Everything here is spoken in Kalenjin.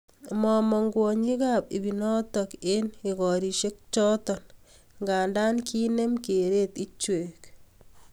Mamang kwonyik ap ipinotok eng igorishe chotok nga kinem kereet ichwek